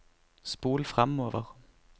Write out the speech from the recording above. spol framover